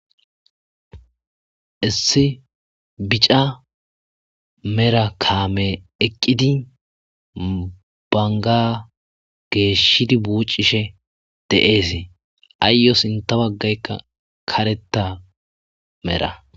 Issi bica mera kaame eqqidi banga geeshshidi buucishe de,eesee ayyo sinta baggaykka kareta mera.